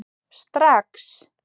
Strax